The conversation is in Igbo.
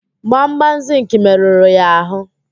Gbamgbam zịnkị merụrụ ya ahụ.